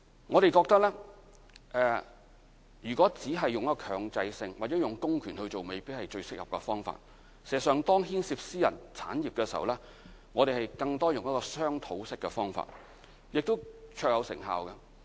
我們認為，如果只是強制性或用公權進行，未必是最適合的方法，事實上，當牽涉私人產業的時候，我們更多用的是商討式的方法，而此法亦是最有成效的。